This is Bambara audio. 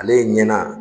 Ale ɲɛna